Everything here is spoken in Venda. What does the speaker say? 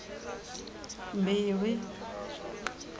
mbilwi